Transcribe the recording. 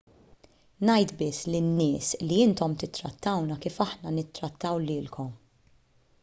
ngħid biss lin-nies li intom tittrattawna kif aħna nittrattaw lilkom